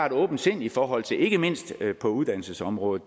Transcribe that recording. et åbent sind i forhold til det ikke mindst på uddannelsesområdet